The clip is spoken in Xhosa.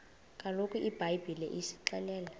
kaloku ibhayibhile isixelela